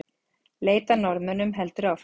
Leit að Norðmönnunum heldur áfram